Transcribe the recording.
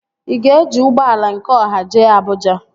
Ị ga-eji ụgbọala nke ọha jee Abụja?